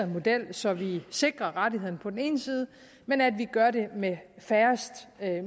model så vi sikrer rettigheden men at vi gør det med færrest